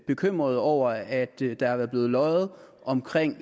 bekymret over at der er blevet løjet om